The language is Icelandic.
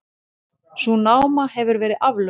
Sú náma hefur verið aflögð.